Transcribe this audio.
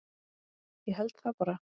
Ég held það bara.